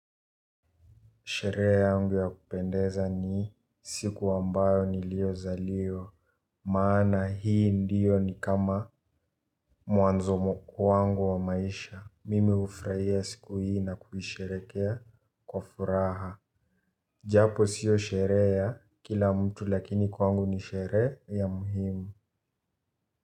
Sherehe yangu ya kupendeza ni siku ambayo niliyozaliwa. Maana hii ndio ni kama mwanzo kwangu wa maisha. Mimi hufurahia siku hii na kuisherehekea kwa furaha. Japo sio sherehe ya kila mtu lakini kwangu ni sherehe ya umuhimu.